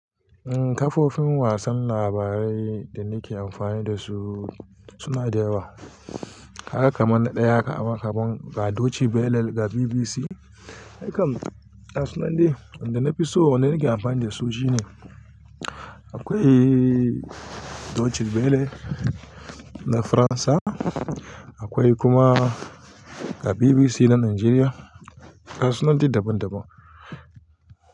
Eh kafofin wasan labarai da nake amfani da su suna da yawa. Haka mana ɗaya aka man kan Deutsche Welle ga BBC. Hakan gasu nan dai wanda na fi so wanda nake amfani da su shine. Akwai Deutsche Welle na Faransa, akwai kuma ga BBC na Najeriya. Gasu nan dai daban-daban.